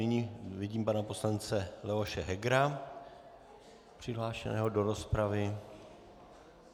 Nyní vidím pana poslance Leoše Hegera přihlášeného do rozpravy.